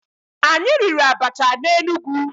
Anyị riri abacha na Enugu.